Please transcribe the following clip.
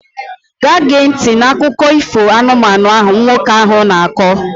Gaa gee ntị n'akụkọ ifo anụmanụ ahụ nwoke ahụ na-akọ!